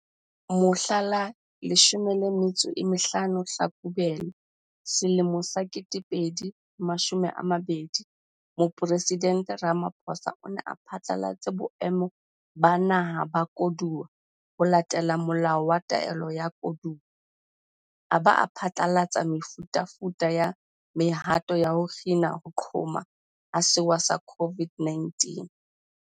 Mohla la 15 Tlhakubele selemong sa 2020, Mopresidente Ramaphosa o ne a phatlalatse Boemo ba Naha ba Koduwa ho latela Molao wa Taolo ya Koduwa, a ba a phatlalatsa mefutafuta ya mehato ya ho kgina ho qhoma ha sewa sa COVID-19.